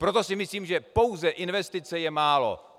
Proto si myslím, že pouze investice je málo.